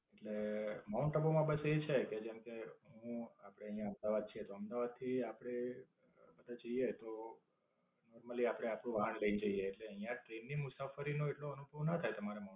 એટલે માઉન્ટ આબુ માં બસ એ છે કે, જેમકે હું આપડે આયા અમદાવાદ છે તો અમદાવાદ થી આપડે બધા જઇયે તો normally આપડે આપણું વાહન લઈન જઇયે એટલે અહીંયા ટ્રેન ની મુસાફરી નો એટલો અનુભવ ના થાય તમારે મા